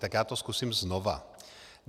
Tak já to zkusím znova.